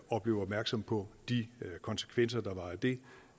og blev opmærksomme på de konsekvenser der var af det